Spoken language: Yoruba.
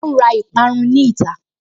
Ó ǹ ra ìparun ní ìta